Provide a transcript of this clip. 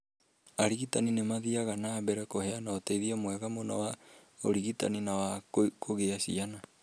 Arigitani nĩ mathiaga na mbere kũheana ũteithio mwega mũno wa ũrigitani na wa kũgĩa ciana